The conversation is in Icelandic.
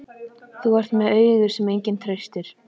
Þú ert með augu sem enginn treystir.